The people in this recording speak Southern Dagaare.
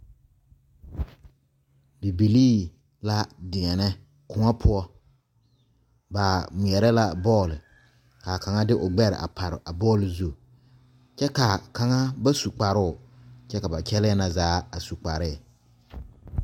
Bibilee la deɛne kõɔ poɔ ba ŋmeɛrɛ la bɔl kaa kaŋa de o gbɛre a pare a bɔl zu kyɛ kaa kaŋa ba su kparo kyɛ ka ba kyɛle na zaa su kparre.